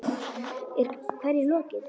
Er hverju lokið?